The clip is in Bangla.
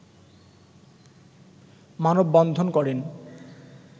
মানববন্ধন করেন